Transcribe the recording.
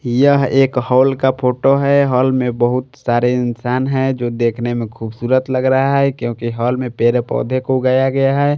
यह एक हॉल का फोटो है हॉल में बहुत सारे इंसान हैं जो देखने में खूबसूरत लग रहा है क्योंकि हॉल में पेरे पौधे को उगाया गया है।